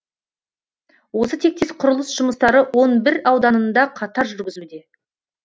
осы тектес құрылыс жұмыстары он бір ауданында қатар жүрзілуде